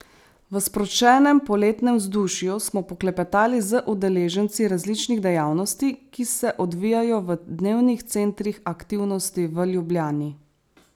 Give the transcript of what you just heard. V sproščenem poletnem vzdušju smo poklepetali z udeleženci različnih dejavnosti, ki se odvijajo v dnevnih centrih aktivnosti v Ljubljani.